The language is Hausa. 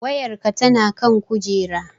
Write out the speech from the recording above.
Wayarki tana kan kujera